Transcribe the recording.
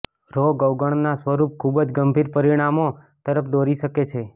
રોગ અવગણના સ્વરૂપ ખૂબ જ ગંભીર પરિણામો તરફ દોરી શકે છે